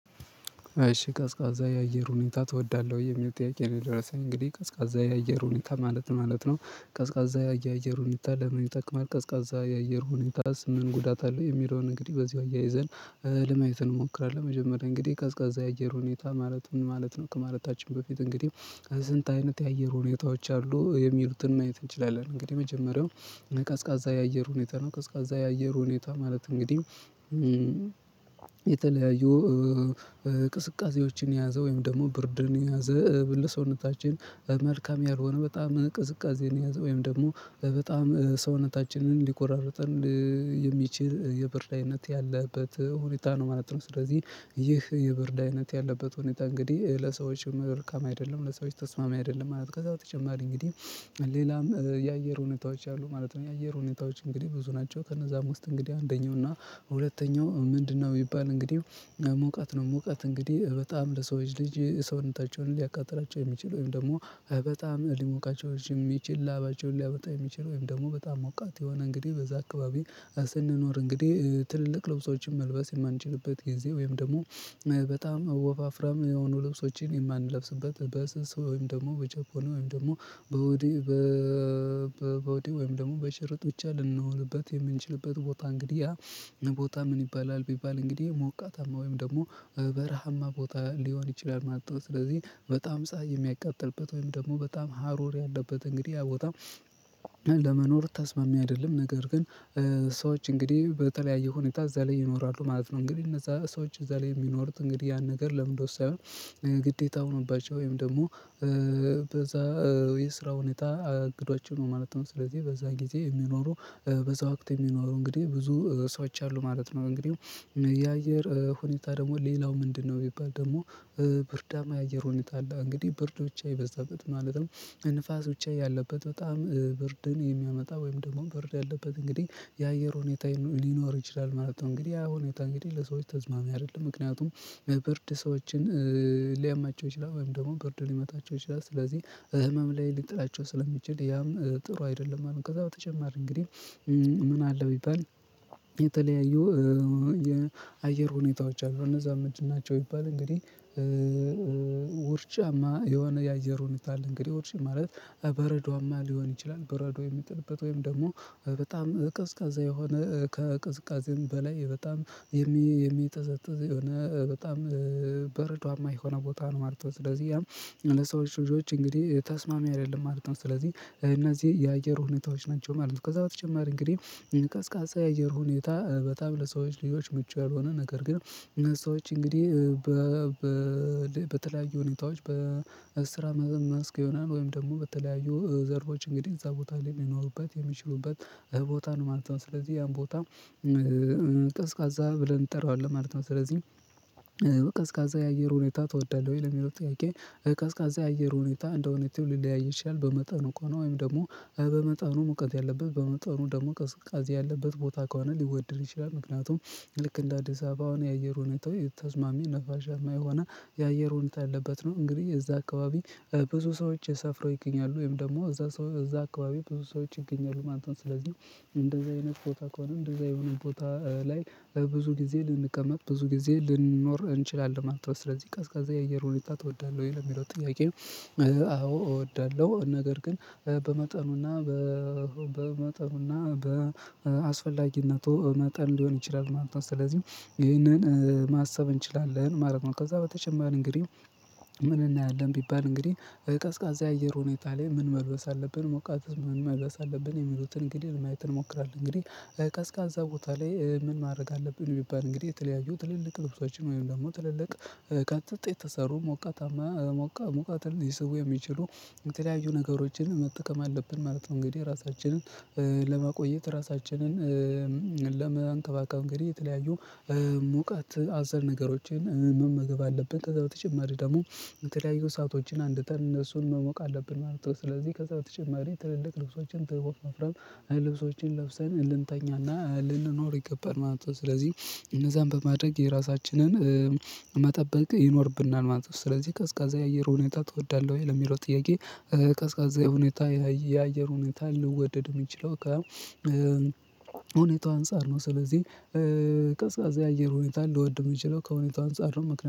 እሺ ቀዝቃዛ የአየር ሁኔታ ትወዳለህ ወይ የሚል ጥያቄ ነው? የደረሰኝ እንግዲህ ቀዝቃዛ የአየር ሁኔታ ማለት ማለት ነው። ቀዝቃዛ የአየር ሁኔታ ለምን ይጠቅማል ቀዝቃዛ የአየር ሁኔታስ ምን ጉዳት አለው የሚለውን እንግዲህ በዚሁ አያይዘን። ለማየት እንሞክራለን መጀመሪያ እንግዲህ ቀዝቃዛ የአየር ሁኔታ ማለት ምን ማለት ነው ከማለታችን በፊት እንግዲህ ከስንት አይነት የአየር ሁኔታዎች አሉ የሚሉትን ማየት እንችላለን እንግዲህ የመጀመሪያው ቀዝቃዛ የአየር ሁኔታ ነው። ቀዝቃዛ የአየር ሁኔታ ማለት እንግዲህ የተለያዩ ቅዝቃዝዎችን የያዘ ወይም ደግሞ ብርድን የያዘ ለሰውነታችን መልካም ያልሆነ በጣም ቅዝቃዜን የያዘ ወይም ደግሞ በጣም ሰውነታችንን ሊቆራርጥን የሚችል የብርድ አይነት ያለበት ሁንታ ነው ማለት ነው። ስለዚህ ይህ የብርድ አይነት ያለበት ሁኔታ እንግዲህ ለሰዎች መልካም አይደለም ለሰዎች ተስማሚ አይደለም ማለት ነው። ከዛ በተጨማሪ እንግዲህ ሌላም የአየር ሁኔታዎች አሉ ማለት ነው። የአየር ሁኔታዎች እንግዲህ ብዙ ናቸው ከነዛም ውስጥ እንግዲህ አንደኛው እና ሁለተኛው ምንድነው የሚባል እንግዲህ ሙቀት ነው። ሙቀት እንግዲህ በጣም ለሰዎች ልጅ ሰውነታቸውን ሊያቃጥላቸው የሚችል ወይም ደግሞ በጣም ሊሞቃቸው የሚችል ላባቸውን ሊያመጣ የሚችል ወይም ደግሞ በጣም ሞቃት የሆነ እንግዲህ በዛ አካባቢ ስንኖር እንግዲህ ትልልቅ ልብሶችን መልበስ የማንችልበት ጊዜ ወይም ደግሞ በጣም ወፋፍራም የሆኑ ልብሶችን የማንለብስበት በስስ ወይም ደግሞ በጃፖኒ ወይም ደግሞ ቦዲ ወይም ደግሞ በሽርጥ ብቻ ልንሆንበት የምንችልበት ቦታ እንግዲህ ቦታ ምን ይባላል ቢባል እንግዲህ ሞቃታማ ወይም ደግሞ በረሃማ ቦታ ሊሆን ይችላል ማለት ነው። ስለዚህ በጣም ፀሀይ የሚያቃጥልበት ወይም ደግሞ በጣም ሀሩር ያለበት እንግዲህ ቦታ ለመኖር ተስማሚ አይደለም ነገር ግን ሰዎች እንግዲህ በተለያዩ ሁኔታ እዛ ላይ ይኖራሉ ማለት ነው። እንግዲህ እነዛ ሰዎች እዛ ላይ የሚኖሩት እንግዲህ ያን ነገር ለምንድነው ሳይሆን ግዴታ ሆኖባቸዋል ወይም ደግሞ በዛ የስራ ሁኔታ እንግዳቸው ነው ማለት ነው። ስለዚህ በዛ ጊዜ የሚኖሩ በዛ አክት የሚኖሩ እንግዲህ ብዙ ሰዎች አሉ ማለት ነው። እንግዲህ የአየር ሁኔታ ደግሞ ሌላው ምንድነው ቢባል ደግሞ ብርዳማ የአየር ሁንታ አለ እንግዲህ ብርድ ብቻ የበዛበት ማለትም ንፋስ ብቻ ያለበት በጣም ብርድን የሚያመጣ ወይም ደግሞ ብርድ ያለበት እንግዲህ የአየር ሁኔታ ሊኖር ይችላል ማለት ነው። እንግዲህ ያ ሁኔታ እንግዲህ ለሰዎች ተስማሚ አይደለም ምክንያቱም ብርድ ሰዎችን ሊያማቸው ይችላል ወይም ደግሞ ብርድ ሊመታቸው ይችላል ስለዚህ ህመም ላይ ሊጥላቸው ስለሚችል ያም ጥሩ አይደለም ማለት ነው። ከዛ በተጨማሪ እንግዲህ ምን አለ ቢባል የተለያዩ የአየር ሁኔታዎች አሉ እነዛ ምንድን ናቸው ቢባል እንግዲህ ውርጫማ የሆነ የአየር ሁኔታ አለ እንግዲህ ውርጫ ማለት በረዷማ ሊሆን ይችላል በረዶ የሚጠልበት ወይም ደግሞ በጣም ቀዝቃዛ የሆነ ከቀዝቃዜም በላይ በጣም የሚጠዘጥዝ የሆነ በጣም በረዷማ የሆነ ቦታ ነው ማለት ነው። ስለዚህ ያም ለሰዎች ልጆች እንግዲህ ተስማሚ አይደለም ማለት ነው ስለዚህ እነዚህ የአየር ሁኔታዎች ናቸው ማለት ነው። ከዛ በተጨማሪ እንግዲህ ቀዝቃዛ የአየር ሁኔታ በጣም ለሰዎች ልጆች ምቹ ያልሆነ ነገር ግን ሰዎች እንግዲህ በተለያዩ ሁኔታዎች በስራ መስክ ይሆናል ወይም ደግሞ በተለያዩ ዘርፎች እንግዲህ እዛ ቦታ ላይ ሊኖሩበት የሚችሉበት ቦታ ነው ማለት ነው ስለዚህ ያን ቦታ ቀዝቃዛ ብለን እንጠራዋለን ማለት ነው። ስለዚህ ቀዝቃዛ የአየር ሁኔታ ትወዳለህ ወይ ለሚለው ጥያቄ ቀዝቃዛ የአየር ሁኔታ እንደሁንታው ሊለያይ ይቻላል በመጠኑ ከሆነ ወይም ደግሞ በመጠኑ ሙቀት ያለበት በመጠኑ ደግሞ ቅዝቃዛ ያለበት ቦታ ከሆነ ሊወደድ ይችላል። ምክንያቱም ልክ እንደ አዲስ አበባ የአየር ሁኔታው የተዝማሚ ነፋሻ ማይ ሆና የአየር ሁኔታ አለበት ነው እንግዲህ እዛ አካባቢ ብዙ ሰዎች ሰፍረው ይገኛሉ ወይም ደግሞ እዛ እዛ አካባቢ ብዙ ሰዎች ይገኛሉ ማለት ስለዚህ እንደዛ የነበረው ቦታ ከሆነ እንደዛ የሆነ ቦታ ላይ ብዙ ጊዜ ልንቀመጥ ብዙ ጊዜ ልንኖር እንችላለን ማለት ነው። ስለዚህ ቀዝቃዛ የእየር ሁኔታ ትወዳለህ ወይ ለሚለው ጥያቄ። አዎ እወዳለሁ ነገር ግን በመጠኑና በ በመጠኑና በአስፈላጊነቱ መጠን ሊሆን ይችላል ማለት ነው። ስለዚህ ይህንን ማሰብ እንችላለን ማለት ነው። ከዛ በተጨማሪም እንግዲህ ምን እናያለን ቢባል እንግዲህ ቀዝቃዛ የአየር ሁኔታ ላይ ምን መልበስ አለብን ሞቃት ምን መልበስ አለብን የሚሉትን እንግዲህ ማየት እንሞክራለን እንግዲህ ቀዝቃዛ ቦታ ላይ ምን ማድረግ አለብን ቢባል እንግዲህ የተለያዩ ትልልቅ ልብሶችን ወይም ደግሞ ትልልቅ ከጥጥ የተሰሩ ሞቃታማ ሙቀትን ሊስቡ የሚችሉ የተለያዩ ነገሮችን መጠቀም አለብን ማለት ነው። እንግዲህ የራሳችንን ለማቆየት ራሳችንን ለመንከባከብ እንግዲህ የተለያዩ ሙቀት አዘል ነገሮችን መመገብ አለብን ከዛ በተጨማሪ ደግሞ የተለያዩ ሰአቶችን አንድ ተር እነሱን መሞቅ አለብን ማለት ነው። ስለዚህ ከዛ በተጨማሪ ትልልቅ ልብሶችን ትልቅ መፍረም ልብሶችን ለብሰን ልንተኛና ልንኖር ይገባል ማለት ነው። ስለዚህ እነዛን በማድረግ የራሳችንን መጠበቅ ይኖርብናል ማለት ነው። ስለዚህ ቀዝቃዛ የአየር ሁኔታ ትወዳለህ ወይ ለሚለው ጥያቄ። ቀዝቃዛ ሁኔታ የአየር ሁኔታ ልወደድ የሚችለው ከሁንታው አንፃር ነው ስለዚህ የአየር ሁኔታ ልወድ የምችለው ከሁኔታው አንፃር ነው።